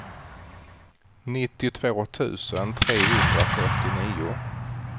nittiotvå tusen trehundrafyrtionio